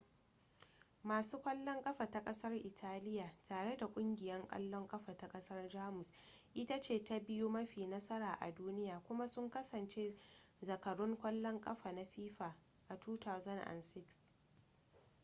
masu kwallon ƙafa ta ƙasar italiya tare da ƙungiyar ƙwallon ƙafa ta ƙasar jamus ita ce ta biyu mafi nasara a duniya kuma sun kasance zakarun ƙwallon ƙafa na fifa a 2006